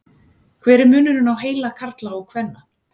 hver er munurinn á heila karla og kvenna